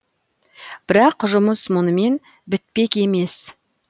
бірақ жұмыс мұнымен бітпек емес